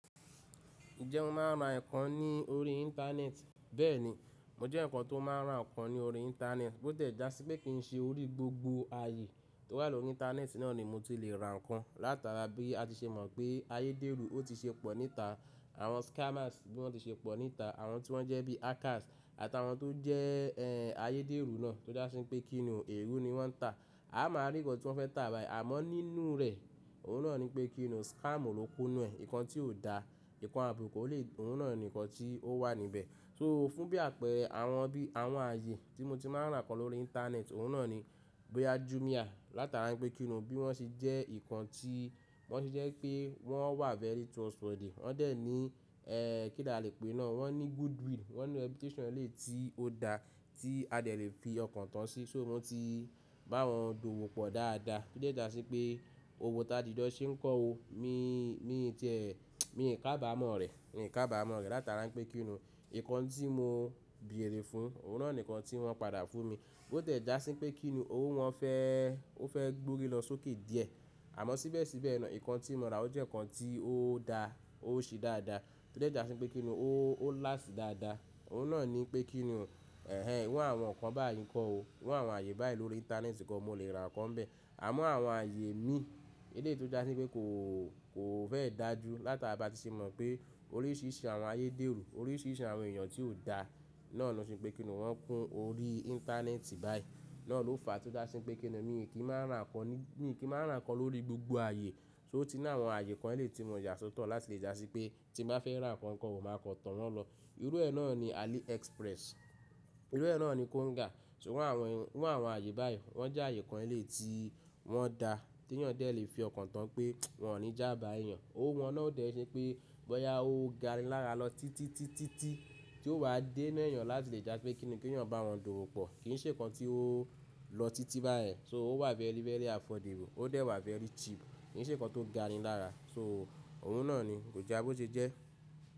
Ǹjẹ́ mo máa ra ǹkan ní orí Internet? Bẹ́ẹ̀ni, mo jẹ́ eyan kan tó máa ń ra ǹkan ní orí Internet, bó tile já sí pé kì í ṣe orí gbogbo ayé tó wà lórí internet náà ni mo ti lè ra ǹkan. Látara bí a ti ṣe mọ̀ pé ayédèrú ó ti ṣe pọ̀ níta, àwọn scammers bí wọ́n ti ṣe pọ̀ níta, àwọn tí wọ́n jẹ́ bí hackers àtàwọn tó jẹ́ ẹ́ ayédèrú náà tó je sí pé kí ni èrú ni wọ́n ń tà. A máa rí ǹkan tí wọ́n fẹ́ tà báyìí, àmọ́ nínú rẹ̀, òun náà ni pé kí ni scam ló kúnú ẹ̀. Ǹkan tí kò dá, ǹkan àbùkù ò lè, òhun náà ni ǹkan tí ó wà níbẹ̀. So fún bí àpẹẹrẹ àwọn bí àwọn ayé tí mo ti máa ń ra ǹkan lórí Íńternet, òun náà ni boya Jumia látara pé kí ni bí wọ́n ṣe jẹ́ nkan tí wọ́n ti jẹ́ pé wọ́n wà very trustworthy. Wọ́n dẹ̀ ní ẹ́ kí ni a lè pè é náà, wọ́n ní goodwill, wọ́n ní reputation ẹ́ lè yii tí ó dá tí a dẹ̀ lè fi ọkàn tán sí, so wọ́n ti bá wọn dùwò pọ̀ dáadáa. O de ja sí pé òwò ta jijo ṣe ń kọ́ ọ, mi mi ti ẹ mi kábàámọ̀ rẹ̀, mi kábàámọ̀ rẹ̀ látara wipé kí ni ǹkan tí mo bèèrè fún, òun náà ni ǹkan tí wọ́n padà fún mi. Bó ti ẹ̀ já sí pé kí ni òwọ́ wọn fẹ́ ó fẹ́ gbórí lọ sókè díẹ̀. Àmọ́ síbẹ̀síbẹ̀ náà ǹkan tí mo rà ó jẹ́ ǹkan tí ó daá, ó ṣe dáadáa. Ti o de ja sí pé kí ni ó last dáadáa. Òun náà ni pé kí ni ẹ̀hen iru àwọn ǹkan báyìí ńkọ́ ọ, iru àwọn ayé báyìí lórí Íńternet ni kan mo lè ra ǹkan bẹ́ẹ̀. Àmọ́ àwọn ayé mi, èleyii to ja sí pé kò kò fẹ́ dàjú látara bá ti ṣe mọ̀ pé oríṣìíríṣìí àwọn ayédèrú, oríṣìíríṣìí àwọn èèyàn tí kò dá náà ló ṣe pé kí ni wọ́n kún orí internet báyìí. Náà ló fa tí ó ja sí pé kí ni mi kì í maa n ra ǹkan ní mi kì í maa n ra ǹkan lórí gbogbo ayé. So o ti ni áwọn ayé kan eleyi tí mo yà sọ́tọ̀ láti lè já sí pé tí mo bá fẹ́ ra ǹkan kan o máa kan to wọn lọ. Irú ẹ́ náà ni AliExpress, irú ẹ́ náà ni Konga. Tori awọ́n iru àwọn ayé báyìí, wọ́n jẹ́ ayé kan eleyi tí wọ́n daa tí èèyàn dẹ̀ lè fi ọkàn tán pé wọn ò ní jába èèyàn. Òwò wọn náà ò dẹ̀ ṣe pé bọ́yá ó gani lara lọ títí títí ti tí ó ba dé inú èèyàn láti lè já pé kí ni kí èèyàn bá wọn dùwò pọ̀. Kì í ṣe ǹkan tí ó lọ títí bayen So ó wà very very affordable, ó dẹ̀ wà very cheap, kì í ṣe ǹkan ti o gani lara So òun náà ni, kò já bó ṣe jẹ́.